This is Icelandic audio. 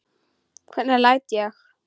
Hvernig læt ég.